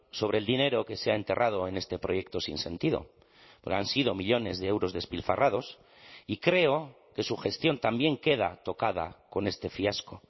sobre el dinero que se ha enterrado en este proyecto sin sentido porque han sido millónes de euros despilfarrados y creo que su gestión también queda tocada con este fiasco